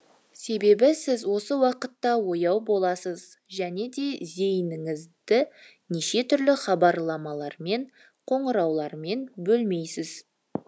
себебі сіз осы уақытта ояу боласыз және де зейініңізді неше түрлі хабарламалармен қоңыраулармен бөлмейсіз